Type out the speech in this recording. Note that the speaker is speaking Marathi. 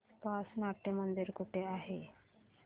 आसपास नाट्यमंदिर कुठे आहे